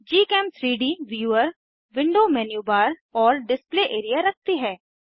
gchem3डी viewer window menu bar और display area रखती है